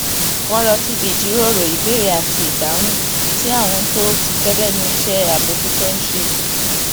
wón lọ síbi ìjíròrò ìbéèrè àti ìdáhùn tí àwọn tó ti pé lénu iṣé àbójútó ń ṣe